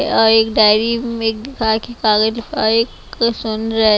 और एक डायरी में कागज और एक सुन रहे--